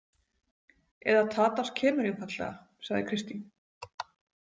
Eða Tadas kemur einfaldlega, sagði Kristín.